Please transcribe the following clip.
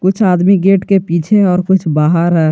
कुछ आदमी गेट के पीछे और कुछ बाहर है।